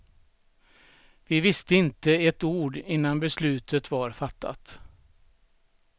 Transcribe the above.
Vi visste inte ett ord innan beslutet var fattat.